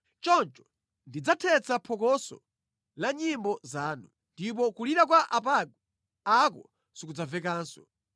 Choncho ndidzathetsa phokoso la nyimbo zanu, ndipo kulira kwa apangwe ako sikudzamvekanso.